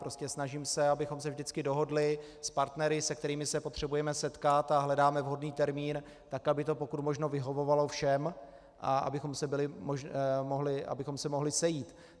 Prostě se snažím, abychom se vždycky dohodli s partnery, se kterými se potřebujeme setkat, a hledáme vhodný termín tak, aby to pokud možno vyhovovalo všem a abychom se mohli sejít.